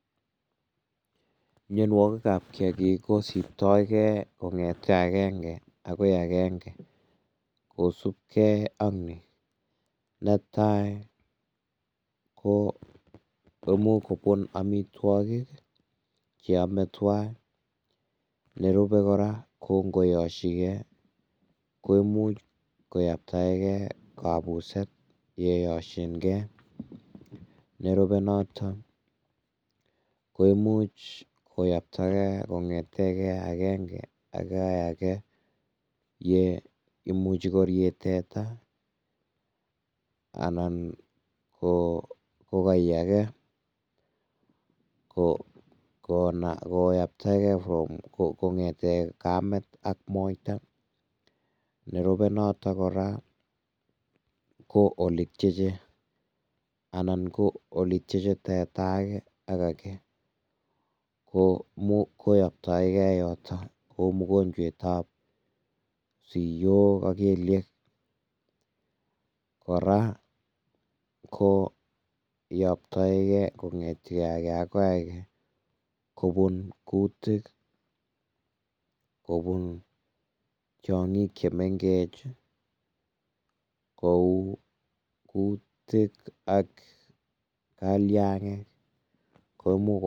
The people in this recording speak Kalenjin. Mionwogikab kiagik kosiptoigei kongete akenge akoi akenge kosupkei ak nii, netai ko imuch kobun amitwokik che ame tuga, nerube kora ko ingoyoshike, ko imuch koyaktaike kabuset yeishoyonkee, nerube notok ko imuch koyaktaike kongete akenge akoi ake ye imuche korie teta anan kokoi akee koyaktaike kongete Kamet akoi moita, nerube notok kora ko oletyeche anan ko oletyeche teta ake ak ake koyoktoike yoto ko mgonjwet ab siyok ak kelyek, kora koyoktoike ake akoi ake kobun kutik, kobun tyongik chemengech kou kotik ak kalyangik.